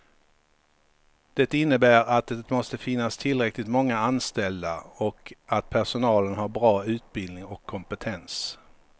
Det innebär att det måste finnas tillräckligt många anställda och att personalen har bra utbildning och kompetens.